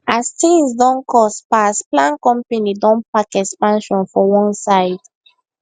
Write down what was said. as things don cost pass plan company don park expansion for one side